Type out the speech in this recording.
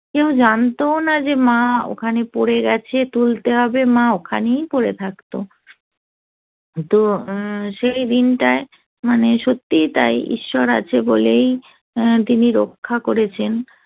কেউ জানতো না যে মা ওখানে পড়ে গেছে তুলতে হবে মা ওখানেই পড়ে থাকতো তো সেই দিনটায় মানে সত্যিই তাই ঈশ্বর আছে বলেই তিনি রক্ষা করেছেন